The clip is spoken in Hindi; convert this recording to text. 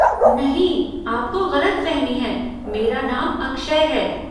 नहीं, आपको गलतफहमी है, मेरा नाम अक्षय है।